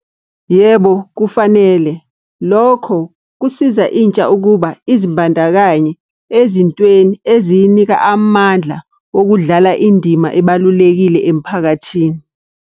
Yebo, kufanele. Lokho kusiza intsha ukuba izibandakanye ezintweni eziyinika amandla wokudlala indima ebalulekile emphakathini.